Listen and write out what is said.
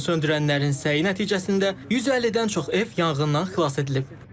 Yanğınsöndürənlərin səyi nəticəsində 150-dən çox ev yanğından xilas edilib.